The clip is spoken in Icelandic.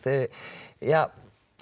er